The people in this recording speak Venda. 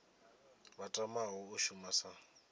vha tamaho u shuma sa